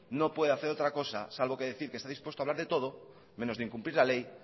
no puede hacer otra cosa salvo que decir que está dispuesto a hablar de todo menos de incumplir la ley